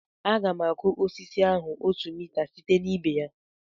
M ga-akụ osisi ahụ otu mita site na ibe ya